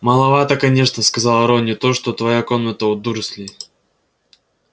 маловата конечно сказал рон не то что твоя комната у дурслей